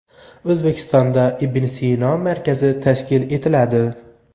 O‘zbekistonda Ibn Sino markazi tashkil etiladi.